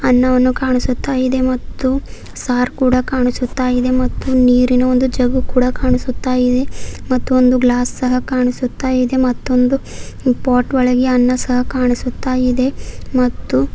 ಅನ್ನವನ್ನು ಕಾಣಿಸುತ್ತಾ ಇದೆ ಮತ್ತು ಸಾರ್ಕೂಡ ಕಾಣಿಸುತ್ತಾ ಇದೆ ಮತ್ತು ನೀರಿನ ಒಂದು ಜಗ್ಗು ಕೂಡ ಕಾಣಿಸುತ್ತಾ ಇದೆ ಮತ್ತು ಒಂದು ಗ್ಲಾಸ್ ಸಹ ಕಾಣಿಸುತ್ತಾ ಇದೆ ಮತ್ತೊಂದು ಪಾಟ್ ಒಳಗೆ ಅನ್ನ ಸಹ ಕಾಣಿಸುತ್ತಾ ಇದೆ ಮತ್ತು--